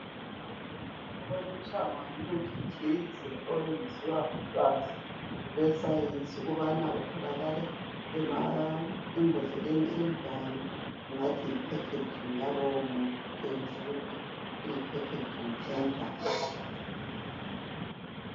kuboniswa umuthi thize owenziwa ngolwazi lwesayensi ukubana uthokala embodleleni enjani singathi yi packaging yalowo muthi etshengisa ukuthi yi packaging enjani.